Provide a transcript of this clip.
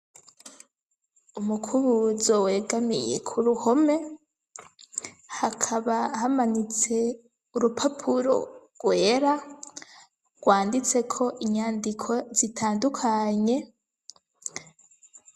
Umukubuzo wegamiye ku r uhome hakaba hamanitse urupapuro rwera rwanditse ko inyandiko zitandukanye.